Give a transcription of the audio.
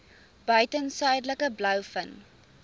buiten suidelike blouvin